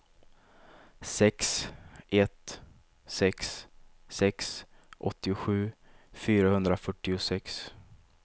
sex ett sex sex åttiosju fyrahundrafyrtiosex